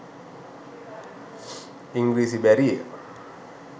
ඉංග්‍රීසි බැරිය